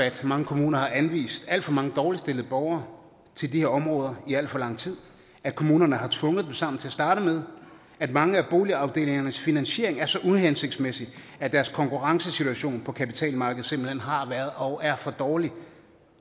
at mange kommuner har anvist alt for mange dårligt stillede borgere til de her områder i alt for lang tid at kommunerne har tvunget dem sammen til at starte med at mange af boligafdelingernes finansiering er så uhensigtsmæssig at deres konkurrencesituation på kapitalmarkedet simpelt hen har været og er for dårlig